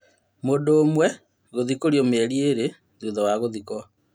Mũndũ ũmwe gũthikũrio mĩeri ĩrĩ thutha wa gũthikwo.